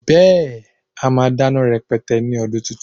Beẹ́, a máa dáná rẹpẹtẹ ní ọdún tuntun